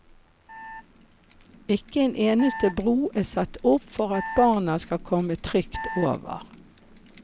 Ikke en eneste bro er satt opp for at barna skal komme trygt over.